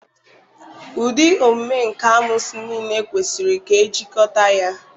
Ụdị omume nka amoosu niile kwesịrị ka ejikọta ya.